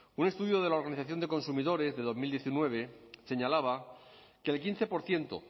un estudio de la organización de consumidores de dos mil diecinueve señalaba que el quince por ciento